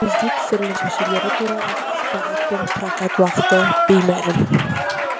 өзге түсірілім мүшелері туралы ақпарат пен прокат уақыты беймәлім